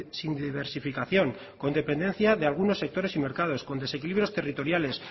sin diversificación con dependencia de algunos sectores y mercados con desequilibrios territoriales